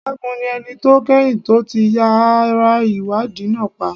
Segun ni ẹni tó kẹ́yìn tó ti yàrá ìwádìí náà pa.